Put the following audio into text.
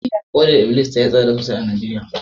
hodar iblis tayi tsada sosai a Najeriya